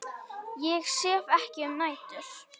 Ég sef ekki um nætur.